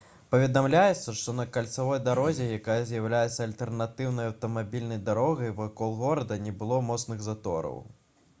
паведамляецца што на кальцавой дарозе якая з'яўляецца альтэрнатыўнай аўтамабільнай дарогай вакол горада не было моцных затораў